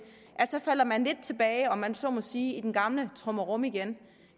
at man falder lidt tilbage om man så må sige i den gamle trummerum igen